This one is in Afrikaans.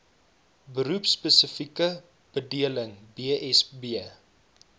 beroepspesifieke bedeling bsb